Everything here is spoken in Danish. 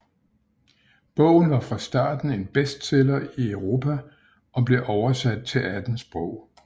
Bogen var fra starten en bestseller i Europe og blev oversat til 18 sprog